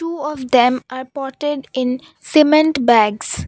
few of them are potted in cement bags.